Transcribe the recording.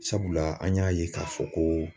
Sabula an y'a ye k'a fɔ ko